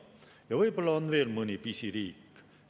Ja võib-olla on veel mõni pisiriik.